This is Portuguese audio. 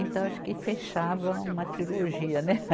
Então acho que fechava uma trilogia, né?